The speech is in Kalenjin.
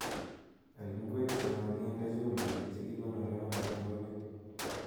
Al ngweek chemaginde chumbiik chegikonoree amitwogik.